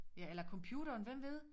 Ja eller computeren hvem ved